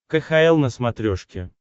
кхл на смотрешке